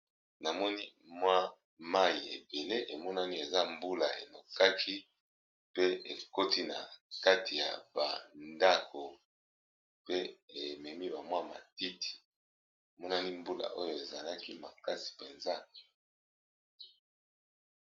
Namoni mwa mayi ebele emonani eza mbula enokaki pe ekoti na kati ya ba ndako, pe ememi ba mwa matiti emonani mbula oyo ezalaki makasi mpenza.